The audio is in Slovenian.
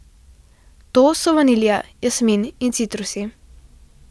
To so vanilija, jasmin in citrusi.